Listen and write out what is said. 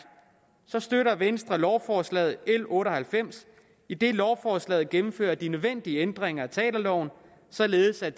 støtter venstre lovforslag l otte og halvfems idet lovforslaget gennemfører de nødvendige ændringer af teaterloven således at